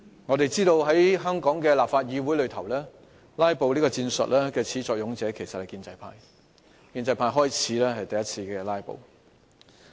我們知道，在香港議會內"拉布"的始作俑者其實是建制派，是建制派議員首次"拉布"的。